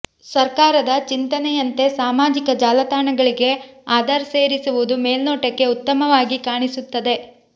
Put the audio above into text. ಸರ್ಕಾರದ ಚಿಂತನೆಯಂತೆ ಸಾಮಾಜಿಕ ಜಾಲತಾಣಗಳಿಗೆ ಆಧಾರ್ ಸೇರಿಸುವುದು ಮೇಲ್ನೋಟಕ್ಕೆ ಉತ್ತಮವಾಗಿ ಕಾಣಿಸುತ್ತದೆ